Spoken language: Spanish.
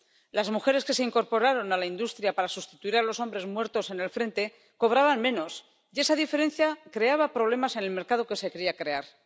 Las mujeres que se incorporaron a la industria para sustituir a los hombres muertos en el frente cobraban menos, y esa diferencia creaba problemas en el mercado que se quería crear.